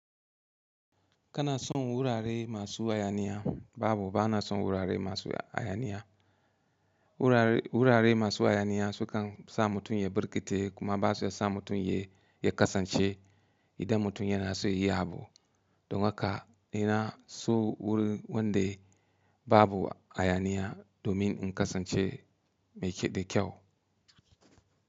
Kana son wurare masu hayaniya? Babu, bana son wurare masu hayaniya. Wurare, wurare masu hayaniya sukan sa mutum ya burkice kuma ba su sa mutum ya, ya kasance idan mutum yana so yayi abu. Don haka ina so wurin wanda babu hayaniya domin in kasance mai da kyau.